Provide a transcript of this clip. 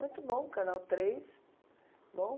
Muito bom, o Canal três, bom.